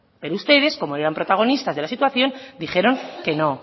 pero ustedes como eran protagonistas de la situación dijeron que no